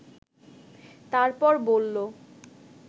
তারপর বলল